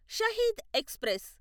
Shaheed express